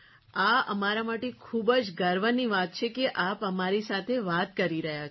આ અમારા માટે ખૂબ જ ગર્વની વાત છે કે આપ અમારી સાથે વાત કરી રહ્યા છો